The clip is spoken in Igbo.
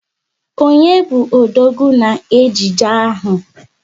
Onye bu odogwu na ejije ahụ?